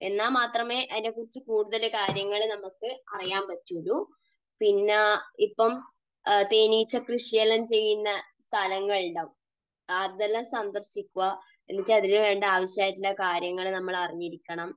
എന്നാൽ മാത്രമേ അതിനെക്കുറിച്ചു കൂടുതൽ കാര്യങ്ങൾ നമുക്ക് അറിയാൻ പറ്റുകയുള്ളൂ. പിന്നെ ഇപ്പോൾ തേനീച്ചക്കൃഷി എല്ലാം ചെയ്യുന്ന സ്ഥലങ്ങൾ ഉണ്ടാകും. അതെല്ലാം സന്ദർശിക്കുക, എന്നിട്ട് അതിനുവേണ്ട ആവശ്യമായിട്ടുള്ള കാര്യങ്ങൾ നമ്മൾ അറിഞ്ഞിരിക്കണം.